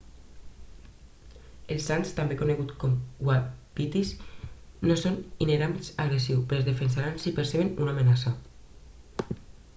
els ants també coneguts com uapitís no són inherentment agressius però es defensaran si perceben una amenaça